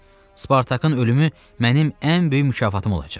Spartakın ölümü mənim ən böyük mükafatım olacaq.